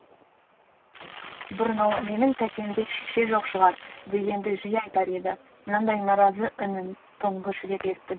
бұрын ол менің тәтемдей шеше жоқ шығар дегенді жиі айтар еді мынандай наразы үнін тұңғыш рет естідім